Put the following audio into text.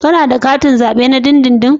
Kana da katin zabe na dindindin?